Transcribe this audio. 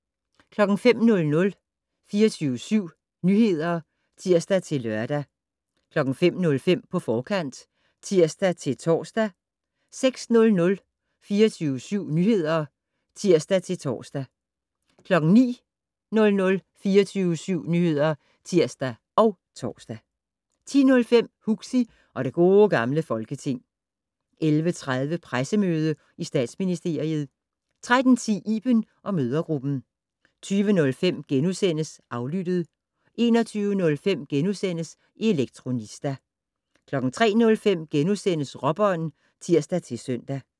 05:00: 24syv Nyheder (tir-lør) 05:05: På forkant (tir-tor) 06:00: 24syv Nyheder (tir-tor) 09:00: 24syv Nyheder (tir og tor) 10:05: Huxi og det Gode Gamle Folketing 11:30: Pressemøde i Statsministeriet 13:10: Iben & mødregruppen 20:05: Aflyttet * 21:05: Elektronista * 03:05: Råbånd *(tir-søn)